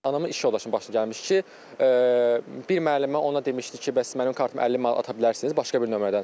Hanımın iş yoldaşına baş gəlmişdi ki, bir müəllimə ona demişdi ki, bəs mənim kartıma 50 manat ata bilərsiniz başqa bir nömrədən.